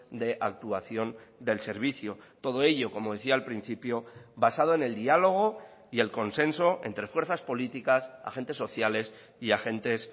de actuación del servicio todo ello como decía al principio basado en el diálogo y el consenso entre fuerzas políticas agentes sociales y agentes